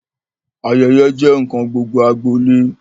Ayẹyẹ jẹ nkan gbogbo agbolé.